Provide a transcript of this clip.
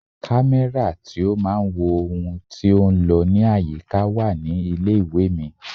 Kámẹ́rà tí ó máa ń wo ohun tí ó ń lọ ní àyíká wà ní ilé ìwé mi.